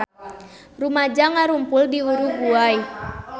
Rumaja ngarumpul di Uruguay